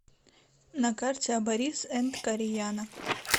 на карте абарис энд кореяна